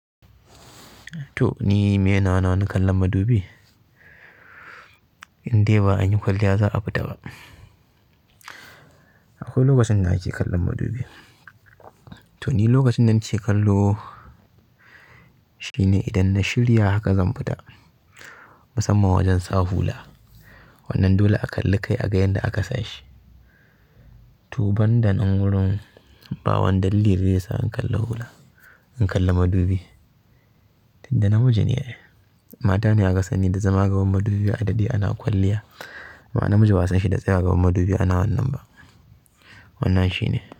To ni meye nawa na kallon madubi? Indai ba an yi kwalliya za a fita ba. Akwai lokacin na ake kallon madubi. To ni lokacin da nake kallo shine idan na shirya haka zan fita musamman wajen sa hula. Wannnan dole a kalli kai a ga yanda aka sashi. To banda nan wurin, babu wani dalilin da zai sa in kalla hula, in kalla madubi. Inda namiji ne, mata ne aka sani da zama gaban madubi a daɗe ana kwalliya. Amma namiji ba'a sanshi da tsayawa gaban madubi ana wannan ba, wannan shine.